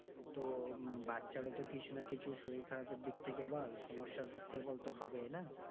তো বাচ্চার ও তো কিছু না কিছু শরীর খারাপের দিক থেকে বল সমস্যার দিক থেকে তো হবেই না।